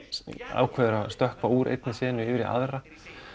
ákveður að stökkva úr einni senu yfir í aðra